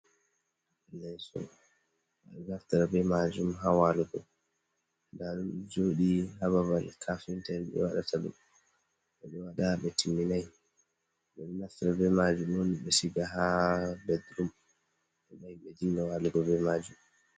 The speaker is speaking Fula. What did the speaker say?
Leso ɓeɗo naftira be majum ha walugo ndaɗum ɗo joɗi hababe kafinta be waɗataɗum, nda ɓe timminai ɓeɗo naftira be majum on ɓe siga ha bedrum ɓedinga walugo be majum.